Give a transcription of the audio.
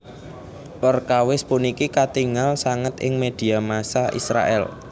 Perkawis puniki katingal sanget ing média massa Israèl